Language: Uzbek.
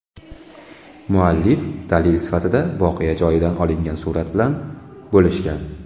Muallif dalil sifatida voqea joyidan olingan surat bilan bo‘lishgan.